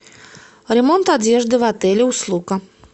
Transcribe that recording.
ремонт одежды в отеле услуга